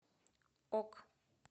ок